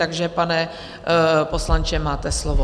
Takže, pane poslanče, máte slovo.